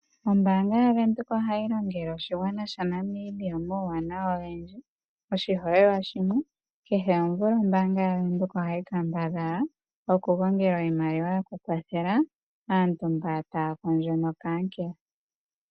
Ombanga yaVenduka ohayi longele oshigwana omauwanawa ogendji oshiholelwa shimwe kehe omvula ombanga yaVenduka ohayi kambadhala okugongela oshimaliwa sho kukwathela aantu mboka taya kondjo nokankela.